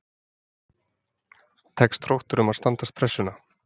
Tekst Þrótturum að standast pressuna??